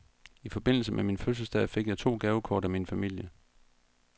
I forbindelse med min fødselsdag fik jeg to gavekort fra min familie.